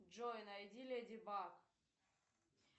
джой найди леди баг